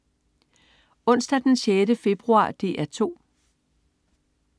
Onsdag den 6. februar - DR 2: